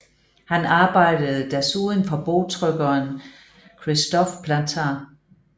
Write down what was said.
Han arbejdede desuden for bogtrykkeren Christophe Plantin